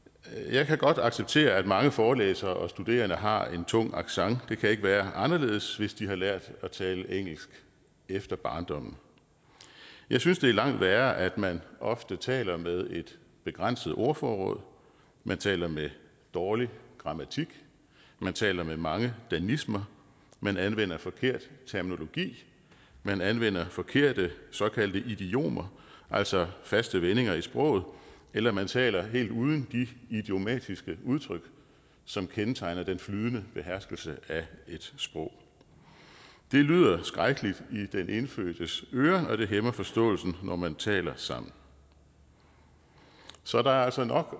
jeg kan godt acceptere at mange forelæsere og studerende har en tung accent det kan ikke være anderledes hvis de har lært at tale engelsk efter barndommen jeg synes det er langt værre at man ofte taler med et begrænset ordforråd at man taler med dårlig grammatik at man taler med mange danismer at man anvender forkert terminologi at man anvender forkerte såkaldte idiomer altså faste vendinger i sproget eller at man taler helt uden de idiomatiske udtryk som kendetegner den flydende beherskelse af et sprog det lyder skrækkeligt i den indfødtes øre og det hæmmer forståelsen når man taler sammen så der er altså nok